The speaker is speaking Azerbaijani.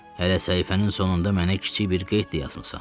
Hələ səhifənin sonunda mənə kiçik bir qeyd də yazmısan.